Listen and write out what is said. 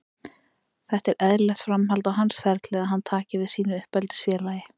Þetta er eðlilegt framhald á hans ferli að hann taki við sínu uppeldisfélagi.